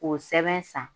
K'o sɛbɛn san